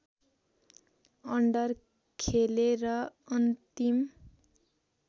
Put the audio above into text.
under खेले र अन्तिम